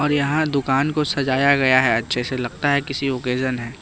र यहाँ दुकान को सजाया गया है अच्छे से लगता है किसी ओकेजन है।